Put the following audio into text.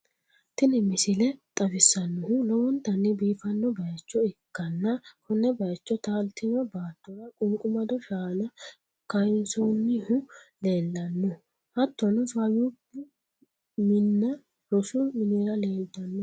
Tini misile xawissannohu lowontanni biifanno bayicho ikkanna, konne bayiicho taaltino baattora qunqumaddo shaana kayinsoonnihu leellanno, hattono faayyubbu minna rosu miniri leeltanno.